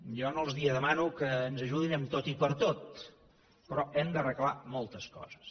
jo no els demano que ens ajudin en tot i per tot però hem d’arreglar moltes coses